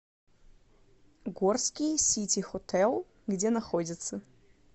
горский сити хотэл где находится